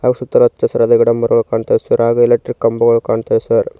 ಹಸು ತರ ಹಚ್ಚ ಹಸಿರಾದ ಗಿಡಮರಗಳ ಕಾಣ್ತಾವೆ ಸರ್ ಹಾಗು ಎಲೆಕ್ಟ್ರಿಕ್ ಕಂಬಗ ಳು ಕಾಣ್ತಾವೆ ಸರ್ .